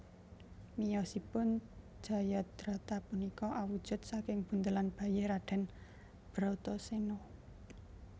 Miyosipun Jayadrata punika awujud saking buntelan bayi Raden Bratasena